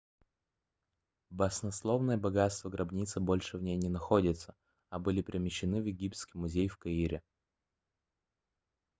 баснословные богатства гробницы больше в ней не находятся а были перемещены в египетский музей в каире